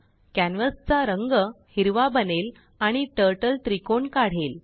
कॅनवासचा रंग हिरवा बनेल आणि टरटल त्रिकोण काढेल